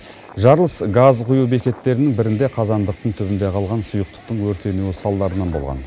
жарылыс газ құю бекеттерінің бірінде қазандықтың түбінде қалған сұйықтықтың өртенуі салдарынан болған